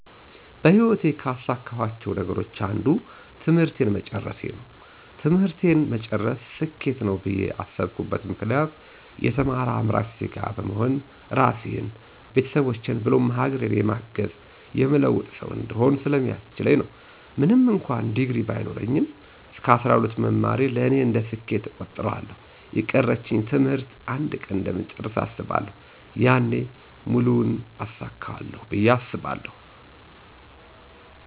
በህይወቴ ካሳካኋቸው ነገሮች አንዱ ትምህርቴን መጨረሴ ነው። ትምህርቴን መጨረሴ ስኬት ነው ብዬ ያስብኩበት ምክንያት የተማረ አምራች ዜጋ በመሆን ራሴን፣ ቤተሰቦቼን ብሎም ሀገሬን የማግዝ፣ የምለውጥ ሠው እንድሆን ስለሚያስችለኝ ነው። ምንም እንኩአን ዲግሪ ባይኖረኝ እስከ 12 መማሬ ለእኔ እንደ ስኬት እቆጥረዋለሁ። የቀረኝን ትምህርት አንድ ቀን እንደምጨርሰው አስባለሁ። ያኔ ሙሉውን አሳካለሁ ብየ አስባለሁ።